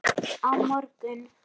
Á morgun